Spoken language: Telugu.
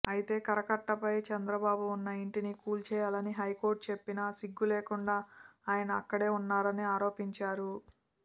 అయితే కరకట్టపై చంద్రబాబు ఉన్న ఇంటిని కూల్చేయాలని హైకోర్ట్ చెప్పినా సిగ్గు లేకుడా ఆయన అక్కడే ఉన్నారని ఆరోపించారు